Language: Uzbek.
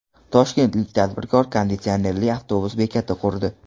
Toshkentlik tadbirkor konditsionerli avtobus bekati qurdi.